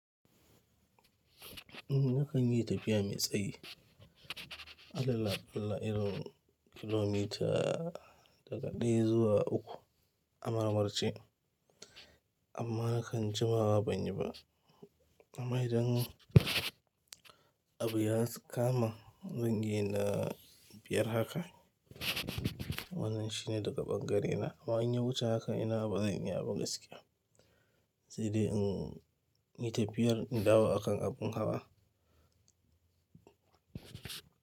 In na kan yi tafiya mai tsayi, adala bila iron kilomita daga ɗaya zuwa uku a maramarce. Amma na kan jima wa ban yi ba. Amma idan abu ya kama zan yi na biyar haka, wannan shine daga ɓangarena. Amma in ya wuce haka ina bazai iya abun gaskiya. Sai dai in yi tafiyar in dawo akan abun hawa.